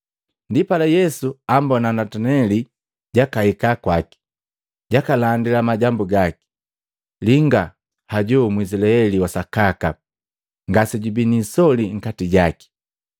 Ndipala Yesu ambona Nataneli jakahika kwaki, jakalandila majambu gaki, “Linga hoju Mwizilaeli wa sakaka ngasejubii niisoli nkati jake!”